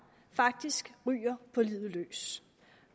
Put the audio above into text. faktisk ryger på livet løs